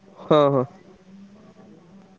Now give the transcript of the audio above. ହଁ ହଁ।